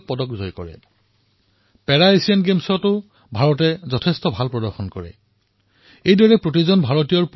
যদি মই প্ৰতিজন ভাৰতীয়ৰ পুৰুষাৰ্থৰ আমাৰ সামুহিক প্ৰয়াসৰ কথা কওঁ তেন্তে আমাৰ মন কী বাত ইমান দীঘলীয়া হব যে ২০১৯ চনেই হয়তো আমি পাই যাম